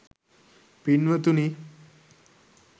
පින්වතුනි